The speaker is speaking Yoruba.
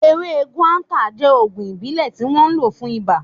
Ewé guata jẹ́ ògùn ìbílẹ̀ tí wọ́n ń lò fún iba